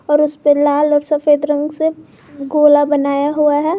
और उसपे लाल और सफेद रंग से गोला बनाया हुआ है।